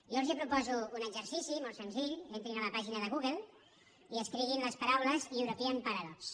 jo els proposo un exercici molt senzill entrin a la pàgina de google i escriguin les paraules european pa radox